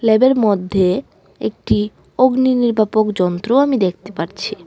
ল্যাবের মধ্যে একটি অগ্নিনির্বাপক যন্ত্র আমি দেখতে পারছি।